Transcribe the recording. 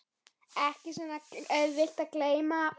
Ekki svo auðvelt að gleyma